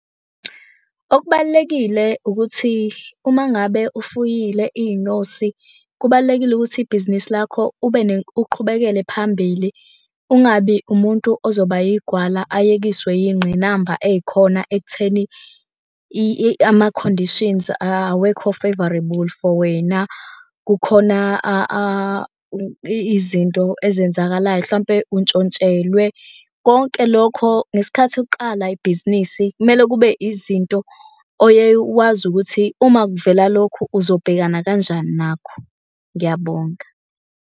Okubalulekile ukuthi uma ngabe ufuyile iy'nyosi kubalulekile ukuthi ibhizinisi lakho uqhubekele phambili. Ungabi umuntu ozoba yigwala ayekiswe yingqinamba ey'khona ekutheni ama-conditions awekho favourable for wena. Kukhona izinto ezenzakalayo hlampe untshontshelwe. Konke lokho.gesikhathi uqala ibhizinisi kumele kube izinto oyeye wazi ukuthi uma kuvela lokhu uzobhekana kanjani nakho. Ngiyabonga.